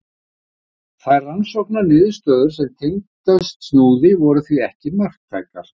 Þær rannsóknarniðurstöður sem tengdust Snúði voru því ekki marktækar.